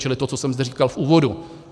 Čili to, co jsem zde říkal v úvodu.